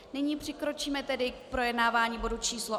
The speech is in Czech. Nyní přikročíme tedy k projednávání bodu číslo